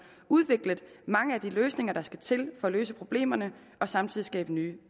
udviklet mange af de løsninger der skal til for at løse problemerne og samtidig skabe nye